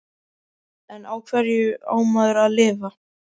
En á hverju á maður að lifa?